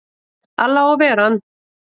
Alli á að ver ann!